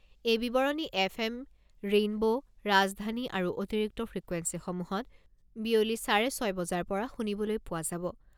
এই বিৱৰণী F M Rainbow, ৰাজধানী আৰু অতিৰিক্ত ফ্ৰিকুৱেন্সিসমূহত বিয়লি চাৰে ছয় বজাৰ পৰা শুনিবলৈ পোৱা যাব।